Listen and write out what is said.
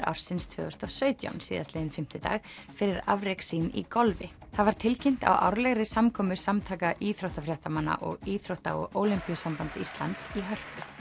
ársins tvö þúsund og sautján síðastliðinn fimmtudag fyrir afrek sín í golfi það var tilkynnt á árlegri samkomu Samtaka íþróttafréttamanna og Íþrótta og Ólympíusambands Íslands í Hörpu